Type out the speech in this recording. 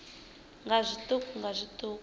nga zwiṱuku nga zwiṱuku u